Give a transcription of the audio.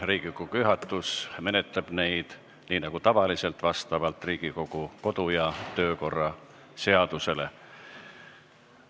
Riigikogu juhatus menetleb neid nii nagu tavaliselt, vastavalt Riigikogu kodu- ja töökorra seadusele.